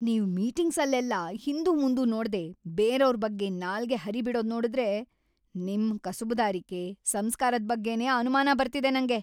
ನೀವ್ ಮೀಟಿಂಗ್ಸಲ್ಲೆಲ್ಲ ಹಿಂದುಮುಂದು ನೋಡ್ದೇ ಬೇರೆವ್ರ್ ಬಗ್ಗೆ ನಾಲ್ಗೆ ಹರಿಬಿಡೋದ್‌ ನೋಡುದ್ರೆ ನಿಮ್‌ ಕಸುಬುದಾರಿಕೆ, ಸಂಸ್ಕಾರದ್‌ ಬಗ್ಗೆನೇ ಅನುಮಾನ ಬರ್ತಿದೆ ನಂಗೆ.